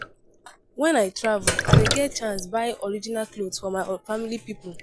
Wen I travel, I dey get chance buy original clot for my family pipo.